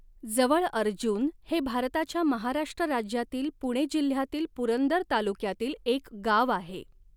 जवळअर्जुन हे भारताच्या महाराष्ट्र राज्यातील पुणे जिल्ह्यातील पुरंदर तालुक्यातील एक गाव आहे.